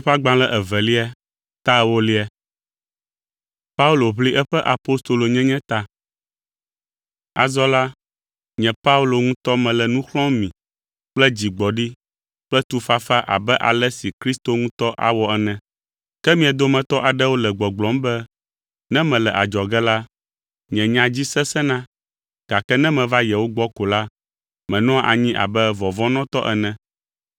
Azɔ la, nye Paulo ŋutɔ mele nu xlɔ̃m mi kple dzigbɔɖi kple tufafa abe ale si Kristo ŋutɔ awɔ ene. Ke mia dometɔ aɖewo le gbɔgblɔm be, ne mele adzɔge la, nye nya dzi “sesẽna”, gake ne meva yewo gbɔ ko la, menɔa anyi abe “vɔvɔ̃nɔtɔ” ene.